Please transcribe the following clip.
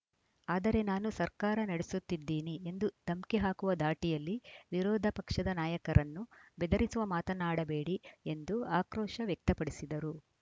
ಆದರೆ ನಾನು ಸರ್ಕಾರ ನಡೆಸುತ್ತಿದ್ದೀನಿ ಎಂದು ಧಮ್ಕಿ ಹಾಕುವ ಧಾಟಿಯಲ್ಲಿ ವಿರೋಧ ಪಕ್ಷದ ನಾಯಕರನ್ನು ಬೆದರಿಸುವ ಮಾತನ್ನಾಡಬೇಡಿ ಎಂದು ಆಕ್ರೋಶ ವ್ಯಕ್ತಪಡಿಸಿದರು